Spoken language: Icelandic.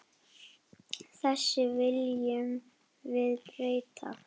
Þessu viljum við breyta.